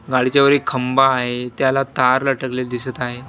गाडीच्यावर एक खंब आहे त्याला तार लटकलेल दिसत आहे.